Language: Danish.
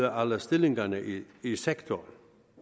alle stillingerne i i sektoren